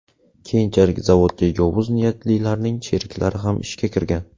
Keyinchalik zavodga yovuz niyatlilarning sheriklari ham ishga kirgan.